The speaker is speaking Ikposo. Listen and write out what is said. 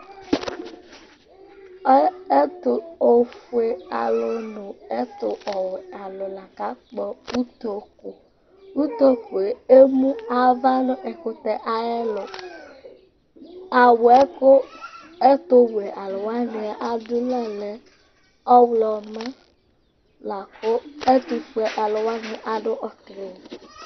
Ɔ ɛtʋ ofuealʋ nʋ ɛtʋwɛalʋ la kakpɔ utoku Utoku yɛ emu ava nʋ ɛkʋtɛ ayɛlʋ Awʋ yɛ kʋ ɛtʋwɛalʋ wanɩ adʋ lɛ ɔɣlɔmɔ la kʋ ɛtʋfuealʋ wanɩ adʋ ɔtɩlɩ